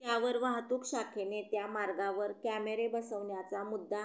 त्यावर वाहतूक शाखेने त्या मार्गावर कॅमेरे बसवण्याचा मुद्दा